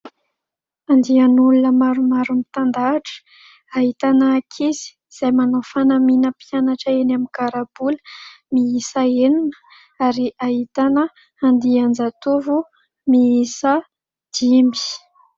Andian'olona maromaro mitan-dahatra ahitana ankizy izay manao fanamina mpianatra eny amin'ny karabola miisa enina ary ahitana andian-jatovo miisa dimy.